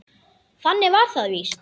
Þannig var það víst.